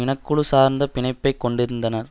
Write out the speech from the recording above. இனக்குழு சார்ந்த பிணைப்பைக் கொண்டிருந்தனர்